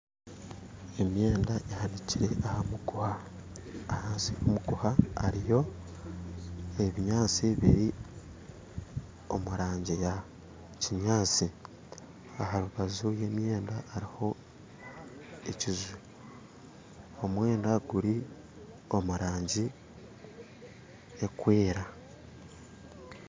Emyenda ehaniikire aha muguuha ahansi y'omuguuha hariyo ebinyaatsi biri omu rangi ya kinyaatsi aharubaju rw'emyenda hariho ekinju omwenda guri omu rangi erikwera